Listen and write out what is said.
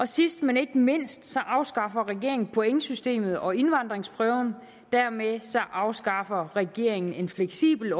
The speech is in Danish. sidst men ikke mindst afskaffer regeringen pointsystemet og indvandringsprøven og dermed afskaffer regeringen en fleksibel